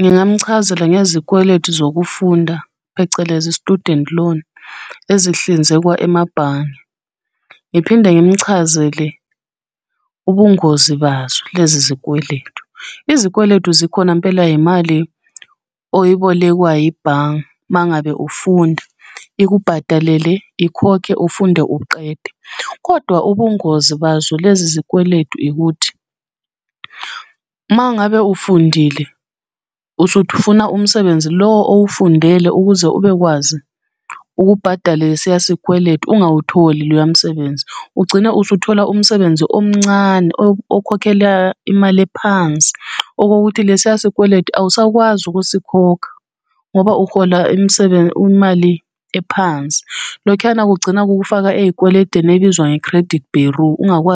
ngingamuchazela ngezikweletu zokufunda, phecelezi student loan, ezihlinzekwa emabhange. Ngiphinde ngimuchazele ubungozi bazo lezizikweletu. Izikweletu zikhona mpela imali oyibolekwa yibhange uma ngabe ufunda, ikubhadalele ikhokhe ufunde uqede. Kodwa ubungozi bazo lezi zikweletu ukuthi, uma ngabe ufundile usufuna umsebenzi lo owufundele ukuze ubekwazi ukubhadala lesiya sikweletu ungawutholi loya msebenzi, ugcina usuthola umsebenzi omncane okhokhela imali ephansi okokuthi lesiya sikweletu awusakwazi ukusikhokha, ngoba uhola imali ephansi. Lokhuyana kugcina kukufaka ey'kweletini ebizwa nge-credit bureau .